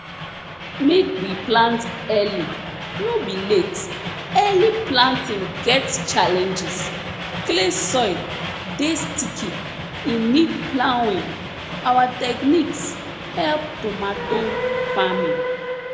make we plant early no be late early planting get challenges clay soil dey sticky e need ploughing our techniques help tomato farming